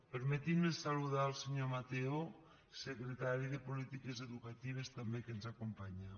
permetin me saludar el senyor mateo secretari de polítiques educatives també que ens acompanya